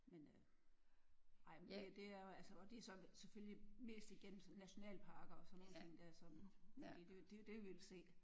Men øh ej men det det er jo altså og det er så selvfølgelig mest igennem nationalparker og sådan nogle ting der som fordi det det er jo det vi vil se